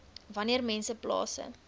wanneer mense plase